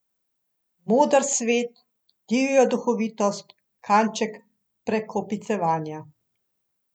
Moder svet, divjo duhovitost, kanček prekopicevanja.